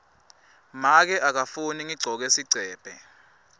make akafuni ngigcoke sigcebhe